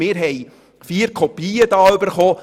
Wir haben vier Kopien davon erhalten.